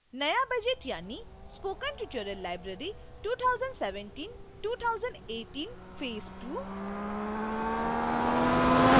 नया budget यानि